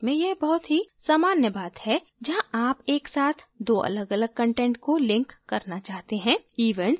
website में यह बहुत ही सामान्य बात है जहाँ आप एक साथ दो अलगअलग कंटेंट को link करना चाहते हैं